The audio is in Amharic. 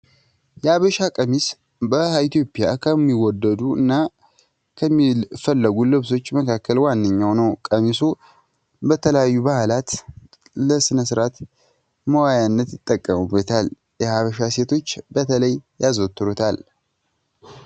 የሀበሻ ቀሚስ በኢትዮጵያ ከሚወደዱ እና ከሚፈለጉ ልብሶች መካከል ዋነኛው ነው ቀሚሱ ለተለያዩ በዓላት ፣ለስነስርዓት መዋያነት ይጠቀሙበታል። የሀበሻ ሴቶች በተለይ ያዘወትራሉ።